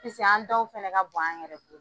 Piseke an dɔw fɛnɛ ka bon an yɛrɛ